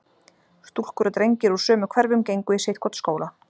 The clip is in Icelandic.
stúlkur og drengir úr sömu hverfum gengu í sitt hvorn skólann.